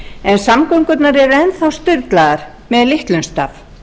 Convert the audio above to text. en samgöngurnar eru enn þá sturlaðar með litlum staf